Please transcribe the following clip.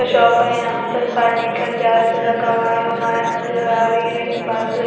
shop है यहां पर पानी का जार रखा हुआ है नजर आ रही है बाजु एक--